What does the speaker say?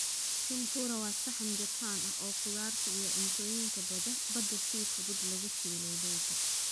Tempura waa saxan Jabbaan ah oo khudaarta iyo cuntooyinka badda si fudud loogu shiilay baytar.